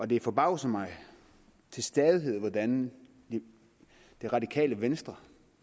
det forbavser mig til stadighed hvordan det radikale venstre